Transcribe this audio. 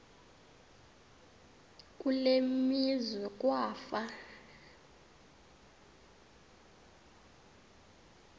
kule meazwe kwafa